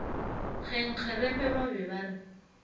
kgenkgerepe ba be ba re